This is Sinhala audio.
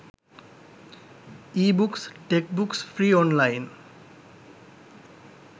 ebooks textbooks free online